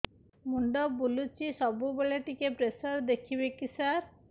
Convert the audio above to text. ମୁଣ୍ଡ ବୁଲୁଚି ସବୁବେଳେ ଟିକେ ପ୍ରେସର ଦେଖିବେ କି ସାର